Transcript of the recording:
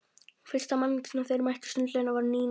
Fyrsta manneskja sem þeir mættu í sundlaugunum var Nína.